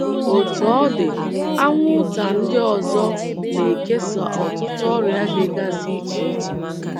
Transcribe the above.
Otú ọ dị, anwụnta ndị ọzọ na - ekesa ọtụtụ ọrịa dịgasị iche iche.